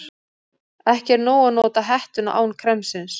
Ekki er nóg að nota hettuna án kremsins.